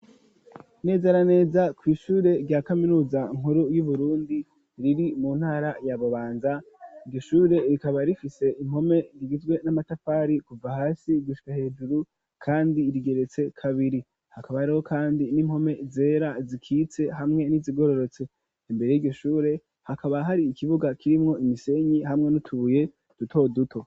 Neza na neza kw'ishure rya kaminuza nkuru yu Burundi riri mu ntara ya Bubanza iryo shure rikaba rifise impome zigizwe n'amatafari kuva hasi gushika hejuru kandi rigeretse kabiri hakaba hariho kandi n'impome zera zikitse hamwe n'izigororotse imbere yiryo shure hakaba hari ikibuga kirimwo imisenyi hamwe n'utubuye duto duto.